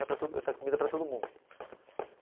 Para todo ele faz comida para todo mundo.